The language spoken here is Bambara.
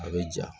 A bɛ ja